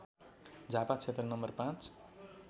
झापा क्षेत्र नम्बर ५